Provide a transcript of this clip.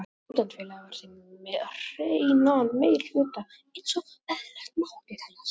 Stúdentafélagið var því með hreinan meirihluta einsog eðlilegt mátti teljast.